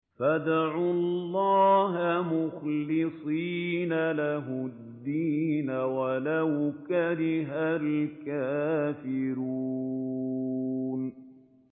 فَادْعُوا اللَّهَ مُخْلِصِينَ لَهُ الدِّينَ وَلَوْ كَرِهَ الْكَافِرُونَ